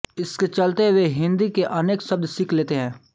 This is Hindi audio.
इसके चलते वे हिन्दी के अनेक शब्द सीख लेते हैं